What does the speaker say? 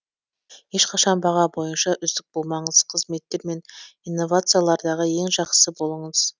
ешқашан баға бойынша үздік болмаңыз қызметтер мен инновациялардағы ең жақсы болыңыз